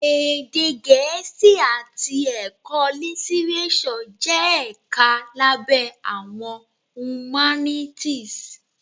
Èdè Gẹẹ́sì àti Ẹ̀kọ́ Lítírésọ̀ jẹ́ ẹ̀ka lábẹ́ Àwọn Humanities.